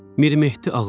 Mirmehdi Ağaoğlu.